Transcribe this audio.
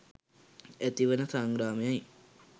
ඇතිවන සංග්‍රාමය යි.